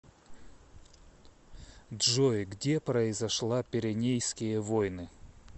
джой где произошла пиренейские войны